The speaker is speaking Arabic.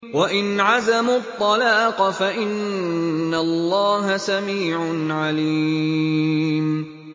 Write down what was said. وَإِنْ عَزَمُوا الطَّلَاقَ فَإِنَّ اللَّهَ سَمِيعٌ عَلِيمٌ